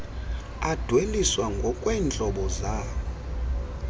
adweliswa ngokweentlobo zawo